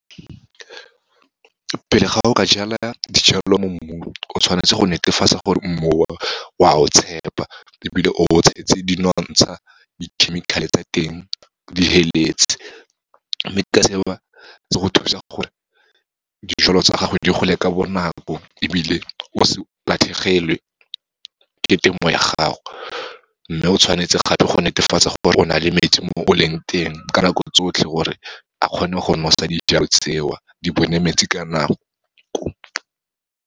Pele ga o ka jala dijalo mo mmung, o tshwanetse go netefatsa gore mmu , o a o tshepa ebile o o tshetse dinotsha, dikhemikhale tsa teng, di feletse. Mme ka seo, se go thusa gore dijalo tsa gago di gole ka bonako, ebile o se latlhegelwe ke temo ya gago, mme o tshwanetse gape go netefatsa gore o na le metsi mo o leng teng, ka nako tsotlhe, gore a kgone go nosa dijalo tseo, di bone metsi ka nako.